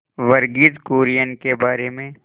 वर्गीज कुरियन के बारे में